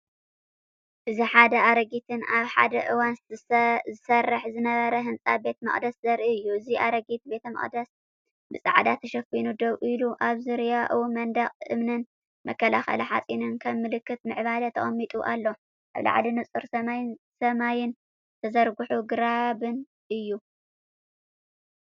እዚ ሓደ ኣረጊትን ኣብ ሓደ እዋን ዝሰርሕ ዝነበረን ህንጻ ቤተ መቕደስ ዘርኢ እዩ። እዚ ኣረጊት ቤተመቕደስ ብጻዕዳ ተሸፊኑ ደው ኢሉ፤ ኣብ ዙርያኡ መንደቕ እምንን መከላኸሊ ሓጺንን ከም ምልክት ምዕባለ ተቐሚጡ ኣሎ። ኣብ ላዕሊ ንጹር ሰማይን ዝተዘርግሑ ግራብን እዩ።